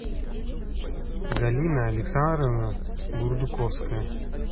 галина александровна бурдуковская